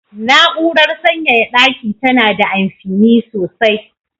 Na'urar sanyaya daki tana da amfini sosai.